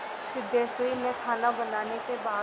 सिद्धेश्वरी ने खाना बनाने के बाद